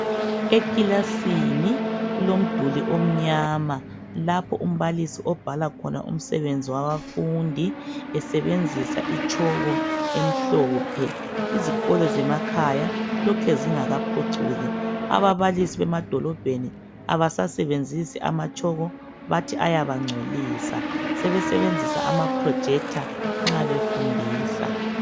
Eklasini kulomduli omnyama lapho umbalisi obhala khona umsebenzi wabafundi esebenzisa itshoko emhlophe , izikolo zemakhaya lokhe zingekaphucuki , ababalisi bemadolobheni abasasebenzisi amatshoko bathi ayabangcolisa sebesebenzisa ama projector nxa befundisa